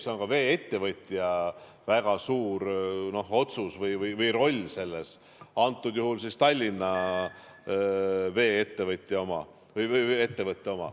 See on ka vee-ettevõtja väga suur otsus või tal on roll selles, antud juhul Tallinna ettevõttel.